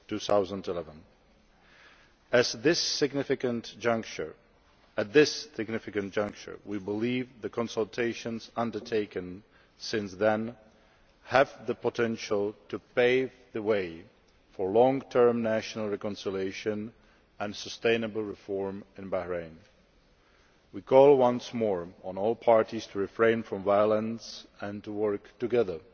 2011. At this significant juncture, we believe the consultations undertaken since then have the potential to pave the way for long term national reconciliation and sustainable reform in Bahrain. We call once more on all parties to refrain from violence and to work together